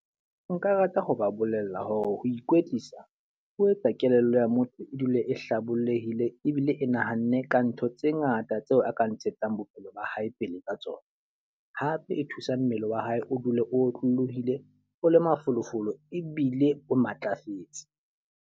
Nka rata ho ba bolella hore ho ikwetlisa, o etsa kelello ya motho e dule e hlabollehile ebile e nahanne ka ntho tse ngata tseo a ka ntshetsang bophelo ba hae pele ka tsona. Hape e thusa mmele wa hae o dule o otlolohile o le mafolofolo ebile o matlafetse.